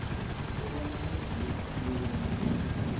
kobana kwenziwe isibuyekezo